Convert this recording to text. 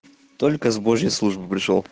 только с божьей службы пришёл